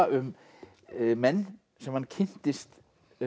um menn sem hann kynntist